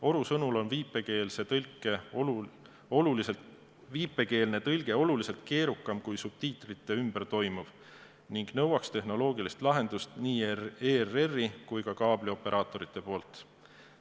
Oru sõnul on viipekeelne tõlge oluliselt keerukam kui subtiitrite ümber toimuv ning nõuaks tehnoloogilist lahendust nii ERR-i kui ka kaablioperaatorite poolt.